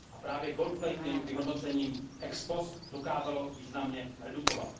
A právě gold plating by hodnocení ex post dokázalo významně redukovat.